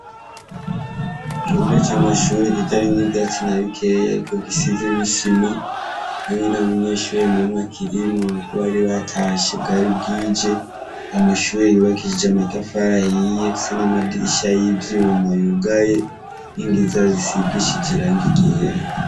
Ikibuga c'amashure kitarimwo ivyatsi nabikeyi ariko gisimwo isima ,ariko ntamunyeshure akirimwo bari batashe bwari bwije. Amashure yubakishije amatafari ahiye ndetse n'amadirisha yivyuma yugaye ninkingi zayo zigishije irangi ryera.